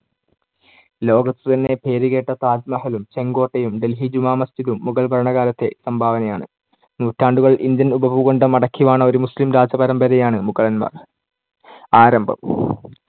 ലോകത്ത് തന്നെ പേരുകേട്ട താജ്‌മഹലും ചെങ്കോട്ടയും ഡൽഹി ജുമാ മസ്‌ജിദും മുഗൾ ഭരണകാലത്തേ സംഭാവനയാണ്. നൂറ്റാണ്ടുകൾ ഇന്ത്യൻ ഉപഭൂഖണ്ഡം അടക്കിവാണ ഒരു മുസ്ലിം രാജപരമ്പരയാണ് മുഗളന്മാർ. ആരംഭം.